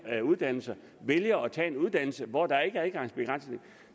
her uddannelser vælger at tage en uddannelse hvor der ikke er adgangsbegrænsning